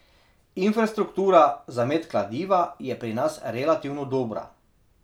Infrastruktura za met kladiva je pri nas relativno dobra.